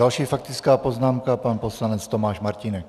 Další faktická poznámka, pan poslanec Tomáš Martínek.